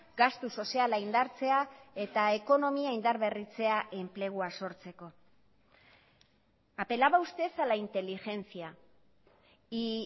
gastu soziala indartzea eta ekonomia indarberritzea enplegua sortzeko apelaba usted a la inteligencia y